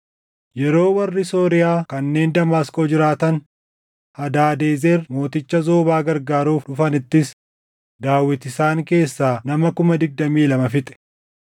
Yeroo warri Sooriyaa kanneen Damaasqoo jiraatan Hadaadezer mooticha Zoobaa gargaaruuf dhufanittis Daawit isaan keessaa nama kuma digdamii lama fixe.